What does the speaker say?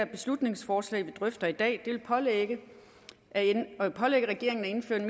beslutningsforslag vi drøfter i dag pålægge regeringen at indføre